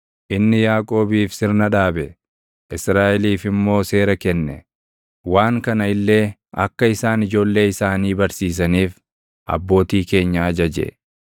Inni Yaaqoobiif sirna dhaabe; Israaʼeliif immoo seera kenne; waan kana illee akka isaan // ijoollee isaanii barsiisaniif, abbootii keenya ajaje;